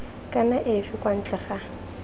kana efe kwa ntle ga